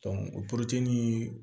o